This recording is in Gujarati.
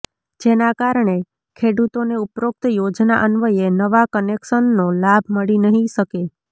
જેના કારણે ખેડૂતોને ઉપરોક્ત યોજના અન્વયે નવા કનેકસનનો લાભ મળી નહીં શકે